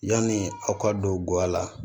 Yani aw ka don gawa la